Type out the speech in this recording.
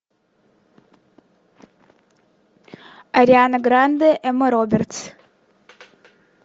ариана гранде эмма робертс